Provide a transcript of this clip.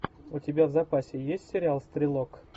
у тебя в запасе есть сериал стрелок